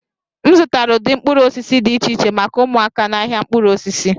M zụtara ụdị mkpụrụ osisi dị iche iche maka ụmụaka n'ahịa mkpụrụ osisi